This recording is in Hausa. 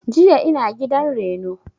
Jiya ina gidan reno